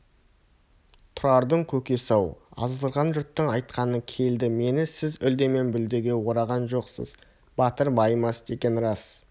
тұрардың көкесі-ау азғырған жұрттың айтқаны келді мені сіз үлдемен бүлдеге ораған жоқсыз батыр байымас деген рас